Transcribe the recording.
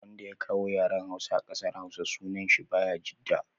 Wanda ya kawo yaren hausa kasar hausawa sunan shi bayajidda